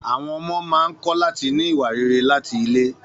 Àwọn ọmọ máa ń kọ́ láti ní ìwà rere láti ilé.